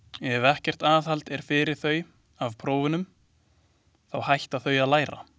Ef ekkert aðhald er fyrir þau af prófunum, þá hætta þau að læra.